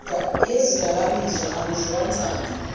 yezidakamizwa akudliwa nsangu